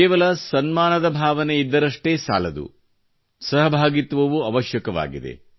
ಕೇವಲ ಸನ್ಮಾನದ ಭಾವನೆಯಿದ್ದರಷ್ಟೇ ಸಾಲದು ಸಹಭಾಗಿತ್ವವೂ ಅವಶ್ಯಕವಾಗಿದೆ